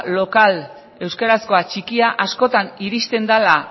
lokal euskarazkoa txikia askotan iristen dela